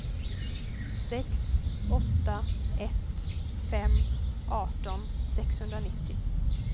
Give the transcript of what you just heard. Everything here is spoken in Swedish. sex åtta ett fem arton sexhundranittio